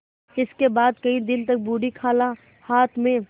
इसके बाद कई दिन तक बूढ़ी खाला हाथ में